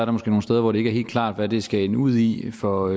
måske nogle steder hvor det ikke er helt klart hvad det skal ende ud i for